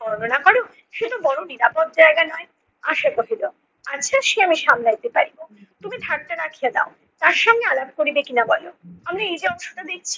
বর্ণনা করো? সেতো বড় নিরাপদ জায়গা নয়! । আচ্ছা সে আমি সামলাইতে পারিব। তুমি থাকতে রাখিয়া দাও। তার সঙ্গে আলাপ করিবে কি-না বলো। আমি এই যে অংশ টা দেখছ,